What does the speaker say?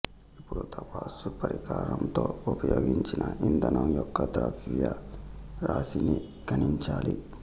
ఇపుడు తాపన పరికరంతో ఉపయోగించిన ఇంధనం యొక్క ద్రవ్యరాశిని గణించాలి